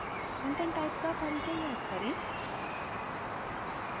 content type का परिचय याद करें